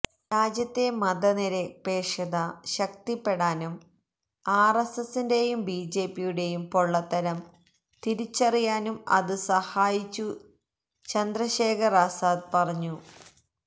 രാജ്യത്തെ മതനിരപേക്ഷത ശക്തിപ്പെടാനും ആര്എസ്എസ്സിന്റെയും ബിജെപിയുടെയും പൊള്ളത്തരം തിരിച്ചറിയാനും അതു സഹായിച്ചു ചന്ദ്രശേഖര് ആസാദ് പറഞ്ഞു